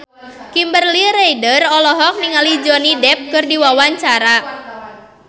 Kimberly Ryder olohok ningali Johnny Depp keur diwawancara